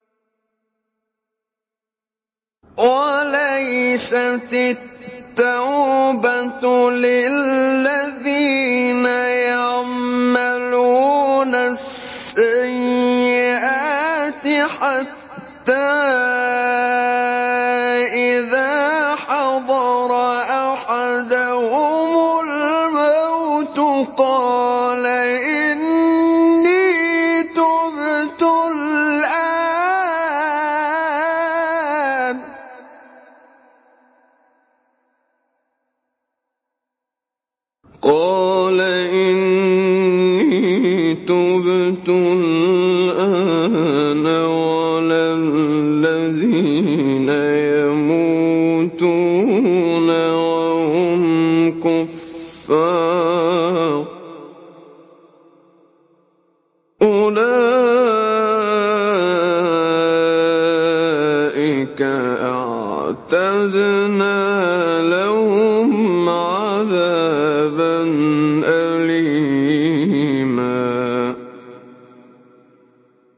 وَلَيْسَتِ التَّوْبَةُ لِلَّذِينَ يَعْمَلُونَ السَّيِّئَاتِ حَتَّىٰ إِذَا حَضَرَ أَحَدَهُمُ الْمَوْتُ قَالَ إِنِّي تُبْتُ الْآنَ وَلَا الَّذِينَ يَمُوتُونَ وَهُمْ كُفَّارٌ ۚ أُولَٰئِكَ أَعْتَدْنَا لَهُمْ عَذَابًا أَلِيمًا